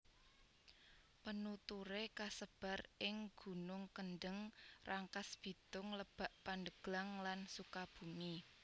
Penuturé kasebar ing gunung Kendeng Rangkasbitung Lebak Pandeglang lan Sukabumi